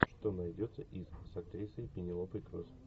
что найдется из с актрисой пенелопой круз